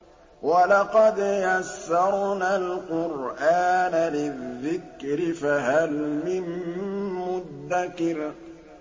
وَلَقَدْ يَسَّرْنَا الْقُرْآنَ لِلذِّكْرِ فَهَلْ مِن مُّدَّكِرٍ